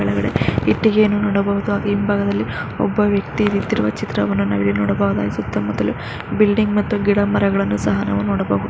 ಇಟ್ಟಿಗೆಯನ್ನು ನೋಡಬಹುದು ಹಾಗೆ ಹಿಂಭಾಗದಲ್ಲಿ ಒಬ್ಬ ವ್ಯಕ್ತಿ ನಿಂತಿರುವ ಚಿತ್ರವನ್ನು ನಾವಿಲ್ಲಿ ನೋಡಬಹುದು. ಸುತ್ತ ಮುತ್ತಲು ಬಿಲ್ಡಿಂಗ್ ಮತ್ತು ಗಿಡ ಮರಗಳನ್ನು ಸಹ ನಾವಿಲ್ಲಿ ನೋಡಬಹುದು.